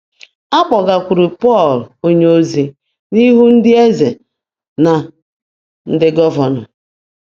A kpụgakwara Pọl onyeozi “n’ihu ndị eze na ndị gọvanọ.”